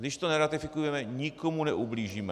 Když to neratifikujeme, nikomu neublížíme.